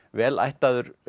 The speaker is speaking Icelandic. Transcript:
vel ættaður